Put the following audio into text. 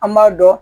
An b'a dɔn